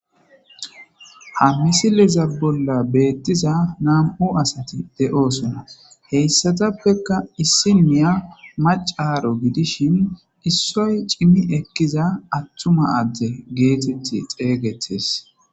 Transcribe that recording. Ha misilezan bolla betiza na'mu asati de'osona hesatapeka issinya macaro gidishin issoy cimi ekiza atuma ade geteti xegetes